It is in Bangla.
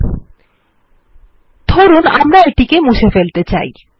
লিখুন আমরা এটি কে মুছে ফেলতে চাই